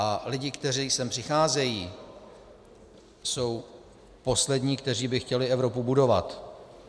A lidé, kteří sem přicházejí, jsou poslední, kteří by chtěli Evropu budovat.